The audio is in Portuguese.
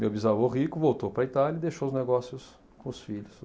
Meu bisavô rico voltou para a Itália e deixou os negócios com os filhos.